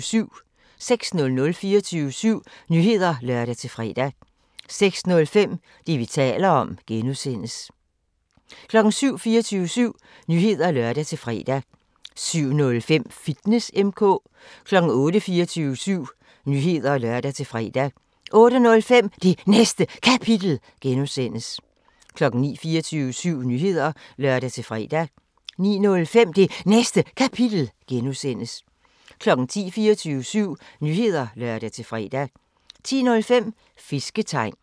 06:00: 24syv Nyheder (lør-fre) 06:05: Det, vi taler om (G) 07:00: 24syv Nyheder (lør-fre) 07:05: Fitness M/K 08:00: 24syv Nyheder (lør-fre) 08:05: Det Næste Kapitel (G) 09:00: 24syv Nyheder (lør-fre) 09:05: Det Næste Kapitel (G) 10:00: 24syv Nyheder (lør-fre) 10:05: Fisketegn